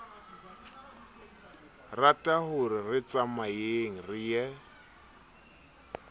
ratahore re tsamayeng re ye